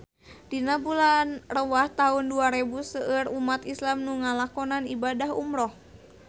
Dina bulan Rewah taun dua rebu seueur umat islam nu ngalakonan ibadah umrah